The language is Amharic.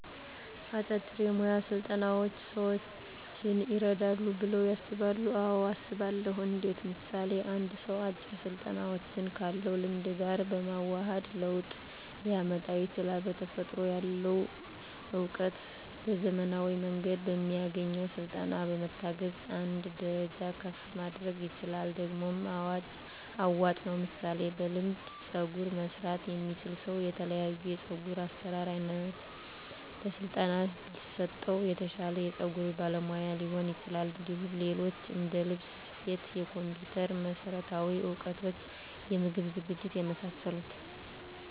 አጫጭር የሞያ ስልጠናዎች ሰዎችን ይረዳሉ ብለው ያስባሉ አዎ አስባለሁ እንዴት ምሳሌ አንድ ሰው አጭር ስልጠናዎችን ካለው ልምድ ጋር በማዋሀድ ለውጥ ሊያመጣ ይችላል በተፈጥሮ ያለውን እውቀት በዘመናዊ መንገድ በሚያገኘው ስልጠና በመታገዝ አንድ ደረጃ ከፍ ማድረግ ይችላል ደግሞም አዋጭ ነው ምሳሌ በልምድ ፀጉር መስራት የሚችል ሰው የተለያዮ የፀጉር አሰራር አይነት በስለጠና ቢሰጠው የተሻለ የፀጉር ባለሙያ ሊሆን ይችላል እንዲሁም ሌሎች እንደልብስ ስፌት የኮምፒተር መሠረታዊ እውቀቶች የምግብ ዝግጅት የመሳሰሉት